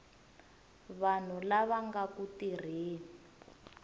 vanhu lava nga ku tirheni